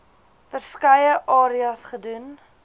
verskeie areas gedoen